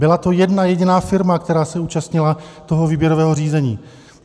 Byla to jedna jediná firma, která se účastnila toho výběrového řízení.